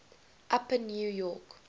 upper new york